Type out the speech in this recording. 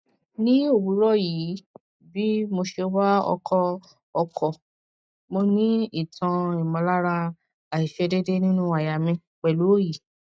ni owuro yi bi mo se wa oko oko mo ni itan imolara aisedede ninu aya mi pelu oyi